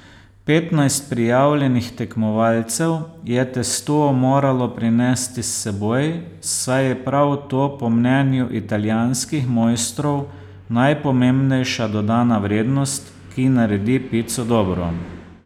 Petnajst prijavljenih tekmovalcev je testo moralo prinesti s seboj, saj je prav to po mnenju italijanskih mojstrov najpomembnejša dodana vrednost, ki naredi pico dobro.